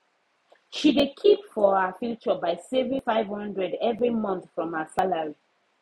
she de keep for her future by saving 500 every month from her salary